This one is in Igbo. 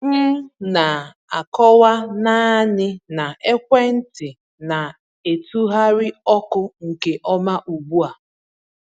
M na-akọwa naanị na ekwentị na-etụgharị ọkụ nke ọma ugbu a.